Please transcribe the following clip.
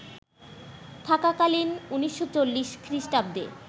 থাকাকালীন ১৯৪০ খ্রিস্টাব্দে